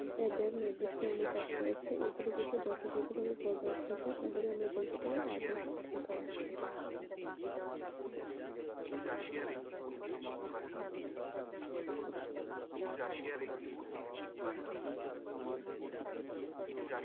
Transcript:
এদের নির্দিষ্ট অনুপাত রয়েছে। এগুলি গুলি যথাযথভাবে বজায় থাকে তাহলে আমরা বলতে পারে আবহাওয়া ঠিক রয়েছে